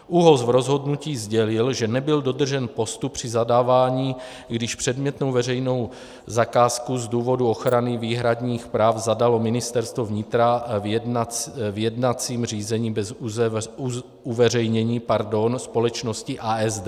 ÚOHS v rozhodnutí sdělil, že nebyl dodržen postup při zadávání, když předmětnou veřejnou zakázku z důvodu ochrany výhradních práv zadalo Ministerstvo vnitra v jednacím řízení bez uveřejnění společnosti ASD.